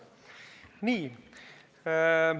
Nii.